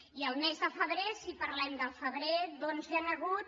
i el mes de febrer si parlem del febrer hi han hagut